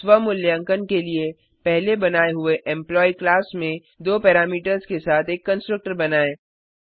स्व मूल्यांकन के लिए पहले बनाए हुए एम्प्लॉयी क्लास में दो पैरामीटर्स के साथ एक कंस्ट्रक्टर बनाएँ